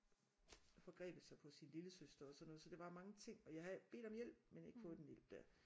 Forgrebet sig på sin lillesøster og sådan noget så der var mange ting og jeg havde bedt om hjælp men ikke fået den hjælp der